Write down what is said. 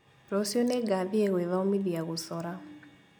Rũciũ nĩngathiĩ gwĩthomithia gũcora